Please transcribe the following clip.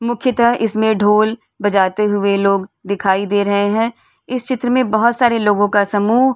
मुख्यता इसमें ढोल बजाते हुए लोग दिखाई दे रहे हैं। इस चित्र में बोहोत सारे लोगो का समूह --